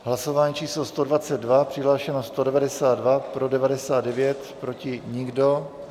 Hlasování číslo 122, přihlášeno 192, pro 99, proti nikdo.